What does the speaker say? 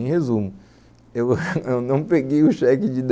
Em resumo, eu não peguei o cheque de dez